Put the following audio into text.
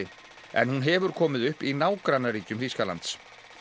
en hún hefur komið upp í nágrannaríkjum Þýskalands